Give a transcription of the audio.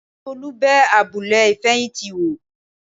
Tolú bẹ abúlé ìfẹ̀yìntì wò